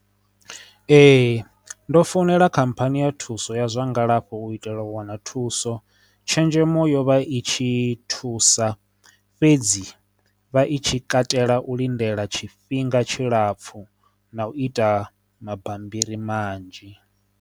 Ee, ndo founela khamphani ya thuso ya zwa ngalafho u itela u wana thuso tshenzhemo yovha i tshi thusa fhedzi vha i tshi katela u lindela tshifhinga tshilapfu na u ita mabammbiri manzhi.